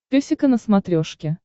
песика на смотрешке